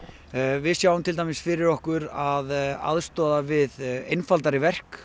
við sjáum til dæmis fyrir okkur að aðstoða við einfaldari verk